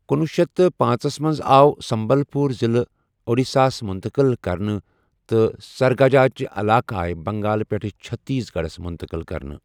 کنۄہ شیتھ پانژھ ژس منز آو سمبل پوٗر ضلع اوڈیشاہس مٗنتقل كرنہٕ تہٕ سٗرغٗجا ہٕكہِ علاقہٕ آیہ بنگال پیٹھٕ چھتیس گڈھس مٗنتقل كرنہٕ ۔